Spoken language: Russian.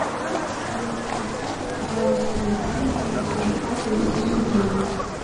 салют перечисли пожалуйста виталику на телефон двести рублей